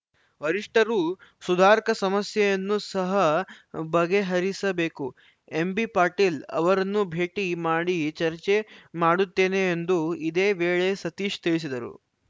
ವರಿಷ್ಠರು ಸುಧಾರ್ಕ ಸಮಸ್ಯೆಯನ್ನೂ ಸಹ ಬಗೆಹರಿಸಬೇಕು ಎಂಬಿ ಪಾಟೀಲ್‌ ಅವರನ್ನೂ ಭೇಟಿ ಮಾಡಿ ಚರ್ಚೆ ಮಾಡುತ್ತೇನೆ ಎಂದು ಇದೇ ವೇಳೆ ಸತೀಶ್‌ ತಿಳಿಸಿದರು